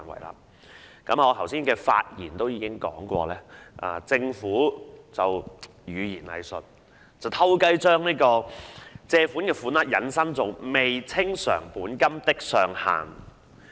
我剛才的發言已指出，政府運用語言"偽術"，暗地把借入款額引申為"未清償本金的上限"。